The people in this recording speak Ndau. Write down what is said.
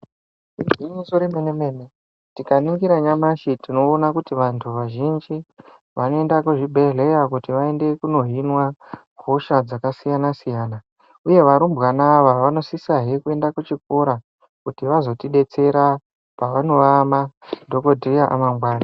Igwinyiso remenemene tikaningira nyamashi tinoona kuti vanthu vazhinji vanoenda kuzvibhedhlera kuti vanohinwa hosha dzakasiyanasiyana uye varumbwana ava vanosisahe kuenda kuchikora kuti vazotidetsera pavanova madhokodheya amangwani.